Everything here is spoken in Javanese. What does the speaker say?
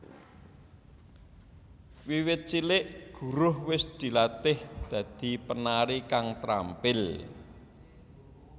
Wiwit cilik Guruh wis dilatih dadi penari kang trampil